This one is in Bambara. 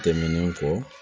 Tɛmɛnen kɔ